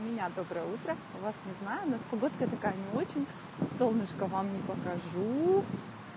у меня доброе утро у вас не знаю у нас погодка такая не очень солнышко вам не покажу